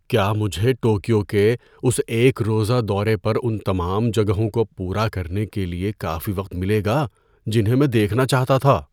کیا مجھے ٹوکیو کے اس ایک روزہ دورے پر ان تمام جگہوں کو پورا کرنے کے لیے کافی وقت ملے گا جنہیں میں دیکھنا چاہتا تھا؟